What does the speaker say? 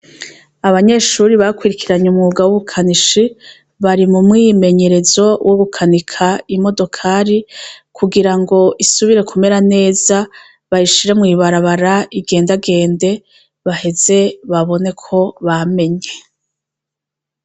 Abanyeshuri bakurikiranye umwuga wu bukanishi, bari mu mwimenyerezo wo gukanika imodokari kugira ngo isubire kumera neza bayishire mw'ibarabara igendagende, baheze babone ko bamenye.